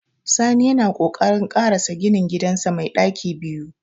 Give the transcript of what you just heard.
Sani yana kokarin ƙarasa ginin gidansa mai ɗaki biyu.